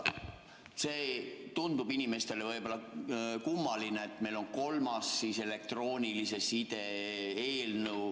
See tundub inimestele võib-olla kummaline, et meil on kolmas elektroonilise side seaduse eelnõu.